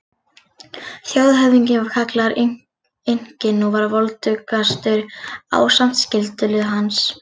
Þjóðhöfðinginn var kallaður Inkinn og var voldugastur ásamt skyldulið hans.